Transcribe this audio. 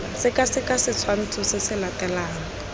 sekaseka setshwantsho se se latelang